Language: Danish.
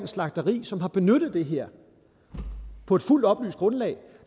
slagteri som har benyttet det her på et fuldt oplyst grundlag